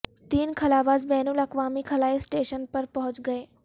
تین خلاباز بین الاقوامی خلائی اسٹیشن پر پہنچ گئے